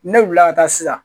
Ne wulila ka taa sisan